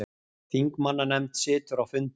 Þingmannanefnd situr á fundi